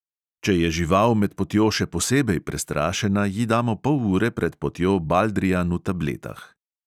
Če je žival med potjo še posebej prestrašena, ji damo pol ure pred potjo baldrijan v tabletah.